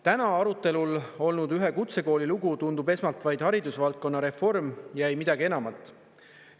Täna arutelul olnud ühe kutsekooli lugu tundub esmalt vaid haridusvaldkonna reform ja ei midagi enamat.